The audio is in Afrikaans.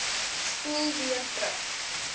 spoel weer terug